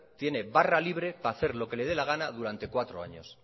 tiene barra libre para hacer lo que le de la gana durante cuatro años